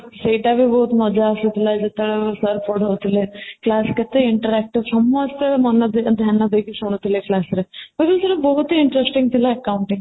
ଏଇଟା ବି ବହୁତ ମଜା ଆସିଥିଲା ଯେତେବେଳେ sir ପଢ଼ଉଥିଲେ, class କେତେ interactive ସମସ୍ତେ ମନଧ୍ୟାନ ଦେଇକି ଶୁଣୁଥିଲେ class ରେ ଏମିତି କି ବହୁତ interesting ଥିଲା accounting